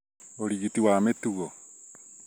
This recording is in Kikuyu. ũrigiti wa mĩtugo